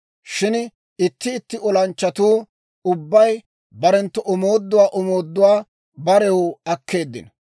Shin itti itti olanchchatuu ubbay barenttu omooduwaa omooduwaa barew akkeeddino.